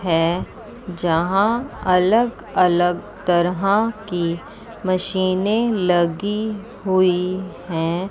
है जहां अलग अलग तरह की मशीनें लगी हुई है।